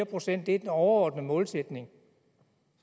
procent er den overordnede målsætning